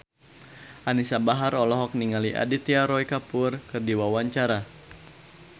Anisa Bahar olohok ningali Aditya Roy Kapoor keur diwawancara